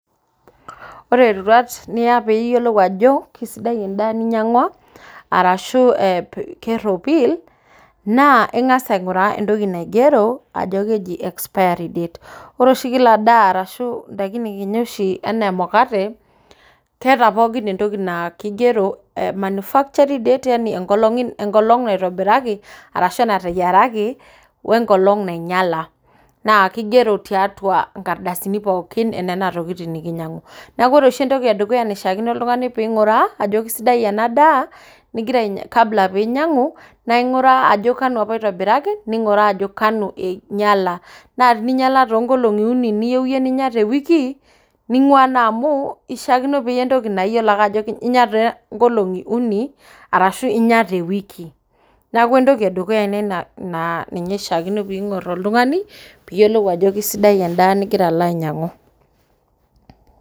Ore iroruat niya piiyiolou ajo kisidai endaa ninyang'ua arashuu kerropil naa ing'as aing'uraa entoki naigero ajo keji expary date .Ore oshi kila endaa enaa emukate naa keeta oshi entoki naa kigero manufacturing date yani enkolong naitobiraki arashu nateyiaraki we nkolong nainyala naa kigero tiaatua nkardasini pookin enena tokitin nikinyang'u. Neeku ore entoki edukuya naaishaakino ning'uraa ajo kisidai ena daa kabula piinyiang'u naaing'uraa ajo kanu apa itobiraki ashuu kanu inyala. naa tenainyala too nkolong'i uni neiyieu iyie ninya te wiki naing'waa naa amuu kishaakino ninyang'u entoki niyiolo ajo inya too nkolong'i uni arashu inya te wiki. Neeku entoki edukuya naa keishaakino neyiolou oltung'ani piyiolou ajo kisidai endaa nigira alo ainyang'u.